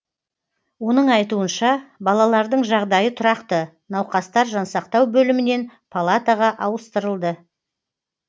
оның айтуынша балалардың жағдайы тұрақты науқастар жансақтау бөлімінен палатаға ауыстырылды